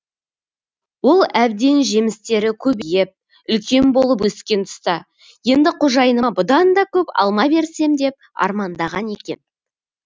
ол әбден жемістері көбейіп үлкен болып өскен тұста енді қожайыныма бұдан да көп алма берсем деп армандаған екен